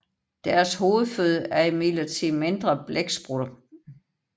Deres hovedføde er imidlertid mindre blæksprutter